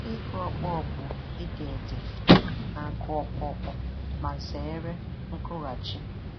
Ịkụ ọkpọ bụ ide ede n'akụ ọkpọ ọkpọ ma zeere nkughachi.